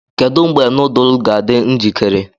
Kedu mgbe nudu ga-adị njikere?